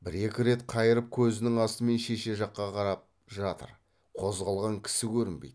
бір екі рет қайырып көзінің астымен шеше жаққа қарап жатыр қозғалған кісі көрінбейді